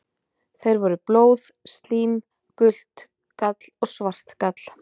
Þeir voru: blóð, slím, gult gall og svart gall.